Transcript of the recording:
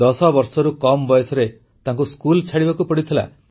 10 ବର୍ଷରୁ କମ୍ ବୟସରେ ତାଙ୍କୁ ସ୍କୁଲ ଛାଡ଼ିବାକୁ ପଡ଼ିଥିଲା